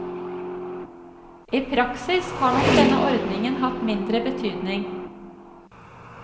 I praksis har nok denne ordningen hatt mindre betydning.